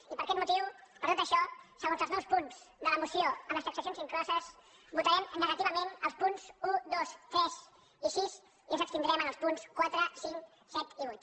i per aquest motiu per tot això segons els nous punts de la moció amb les transaccions incloses votarem negativament als punts un dos tres i sis i ens abstindrem en els punts quatre cinc set i vuit